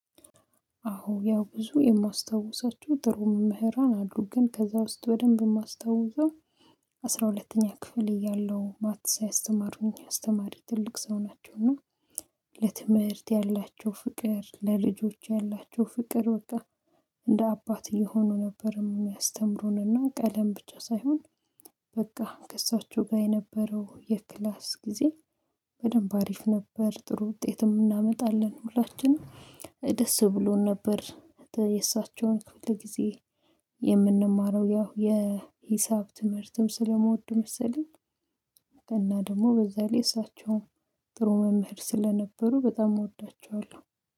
አዎ ያው ብዙ የማስታውሳቸው ጥሩ መምህራን አሉ ግን ከዛ ውስጥ በደንብ የማስታውሰው አስራ ሁለተኛ ክፍል እያለሁ ማትሳ ያስተማሩኝ አስተማሪ ትልቅ ሰው ናቸው። እና ለትምህርት ያላቸው ፍቅር ለልጆች ያላቸው ፍቅር በቃ እንደ አባት እየሆኑ ነበር የሚያስተምሩንና ቀለም ብቻ ሳይሆን በቃ ከእሳቸው ጋር የነበረው የክላስ ጊዜ በደንብ አሪፍ ነበር። ጥሩ ውጤትም እናመጣለን ሁላችንም ደስ ብሎን ነበር። የእሳቸውን ክፍል ጊዜ የምንማረው ያው የሂሳብ ትምህርትም ስለምወድ መሰለኝ። እና ደግሞ በዛ ላይ እሳቸውም ጥሩ መምህር ስለነበሩ በጣም እወዳቸዋለሁ